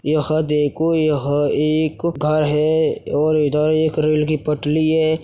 यह देखो यह एक घर है और इधर एक रेल की पटली है।